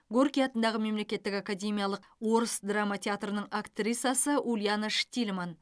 горький атындағы мемлекеттік академиялықорыс драма театрының актрисасы ульяна штильман